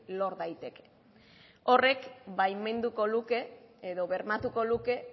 lor daiteke horrek baimenduko luke edo bermatuko luke